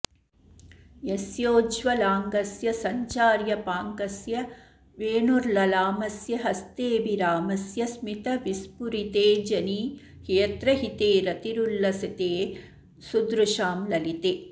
यस्योज्ज्वलाङ्गस्य सञ्चार्यपाङ्गस्य वेणुर्ललामस्य हस्तेऽभिरामस्य स्मितविस्फुरितेऽजनि यत्र हिते रतिरुल्लसिते सुदृशां ललिते